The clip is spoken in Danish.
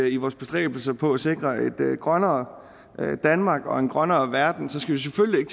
i vores bestræbelser på at sikre et grønnere danmark og en grønnere verden selvfølgelig ikke